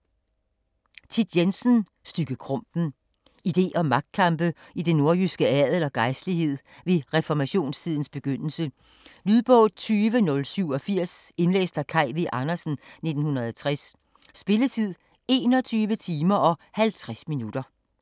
Jensen, Thit: Stygge Krumpen Idé- og magtkampe i den nordjyske adel og gejstlighed ved reformationstidens begyndelse. Lydbog 20087 Indlæst af Kaj V. Andersen, 1960. Spilletid: 21 timer, 50 minutter.